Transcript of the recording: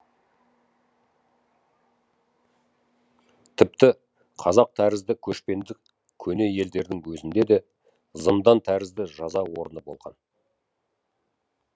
тіпті қазақ тәрізді көшпенді көне елдердің өзінде де зындан тәрізді жаза орны болған